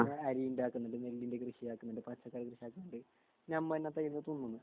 അരിയുണ്ടാകുന്നത് നെല്ലിൻ്റെ കൃഷിയാക്കുന്നുണ്ട് പച്ചക്കറി ഉണ്ടാക്കുന്നുണ്ട് ഞമ്മന്നെ